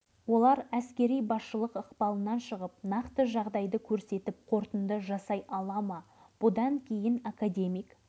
ал керек болса комиссияның қорытындысын мәскеу шығарады ал тексеретін бұл іске маманданбаған құралдары да жоқ жергілікті дәрігерлер